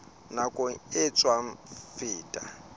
nakong e sa tswa feta